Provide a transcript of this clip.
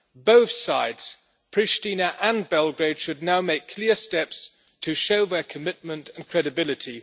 Both sides, Pristina and Belgrade, should now take clear steps to show their commitment and credibility.